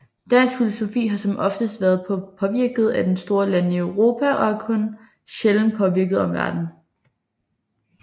Dansk filosofi har som oftest været påvirket af de store lande i Europa og har kun sjældent påvirket omverdenen